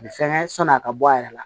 A bɛ fɛnkɛ sɔni a ka bɔ a yɛrɛ la